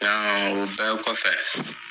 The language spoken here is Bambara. Yan ŋa o bɛɛ kɔfɛ